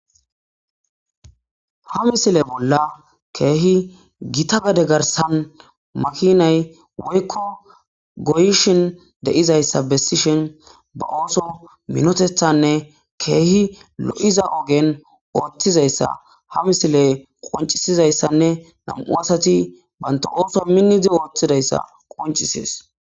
ha misile bolla keehi gita gade garsan makinay woykko goyishin de'izayssa bessishin ba ooso minotethanne keehi lo7iza ogen ooththizayssa ha misiley qoncisizayssanne nam7u asati banta ooso minnizi ooththidayssa qoncisees